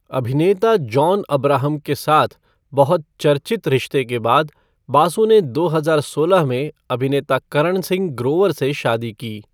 अभिनेता जॉन अब्राहम के साथ बहुत चर्चित रिश्ते के बाद, बासु ने दो हजार सोलह में अभिनेता करण सिंह ग्रोवर से शादी की।